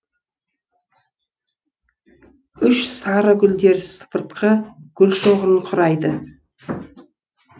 үш сары гүлдер сыпыртқы гүлшоғырын құрайды